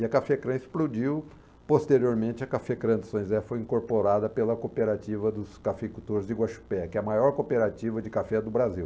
E a Cafécrã explodiu, posteriormente a Cafécrã de São José foi incorporada pela cooperativa dos cafeicultores de Guaxupé, que é a maior cooperativa de café do Brasil.